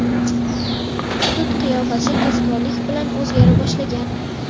Hudud qiyofasi tezkorlik bilan o‘zgara boshlagan.